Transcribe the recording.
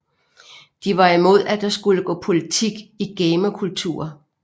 De var imod at der skulle gå politik i gamerkultur